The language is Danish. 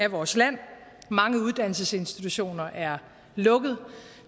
vores land mange uddannelsesinstitutioner er lukket og